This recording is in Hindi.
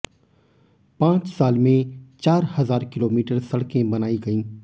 पांच साल में चार हजार किलोमीटर सड़कें बनायी गयी